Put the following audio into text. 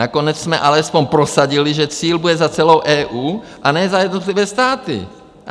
Nakonec jsme alespoň prosadili, že cíl bude za celou EU, a ne za jednotlivé státy.